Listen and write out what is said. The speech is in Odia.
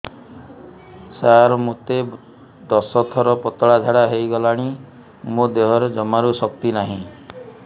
ସାର ମୋତେ ଦଶ ଥର ପତଳା ଝାଡା ହେଇଗଲାଣି ମୋ ଦେହରେ ଜମାରୁ ଶକ୍ତି ନାହିଁ